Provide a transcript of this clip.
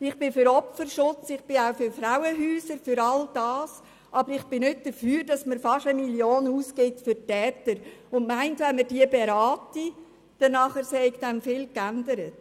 Ich bin für Opferschutz und auch für Frauenhäuser und all das, aber ich bin nicht dafür, dass man für die Täter fast 1 Mio. Franken ausgibt und meint, wenn man sie berate, würde sich vieles ändern.